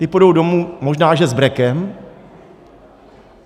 Ti půjdou domů, možná že s brekem.